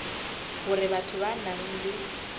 hore batho ba nang le